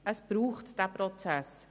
Es braucht diesen Prozess.